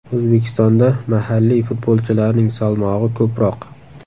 O‘zbekistonda mahalliy futbolchilarning salmog‘i ko‘proq.